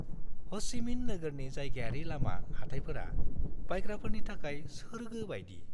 ह'चि मिन नोगोरनि जायगायारि लामा हाथायफोरा बायग्राफोरनि थाखाय सोर्गो बायदि।